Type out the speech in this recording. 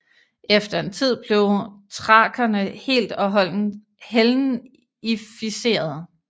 Efter en tid blev thrakerne helt og holdent hellenificerede